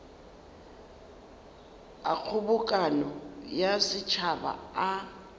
a kgobokano ya setšhaba a